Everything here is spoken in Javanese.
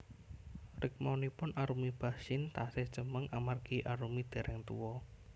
Rikmanipun Arumi Bachsin tasih cemeng amargi Arumi dereng tuwa